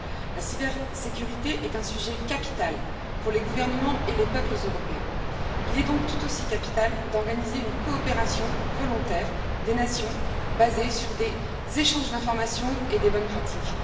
La cybersécurité est un sujet capital pour les gouvernements et les peuples européens. Il est donc tout aussi capital d'organiser une coopération volontaire des nations basée sur des échanges d'informations et des bonnes pratiques.